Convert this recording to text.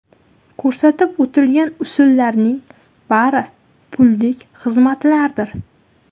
Ko‘rsatib o‘tilgan usullarning bari pullik xizmatlardir.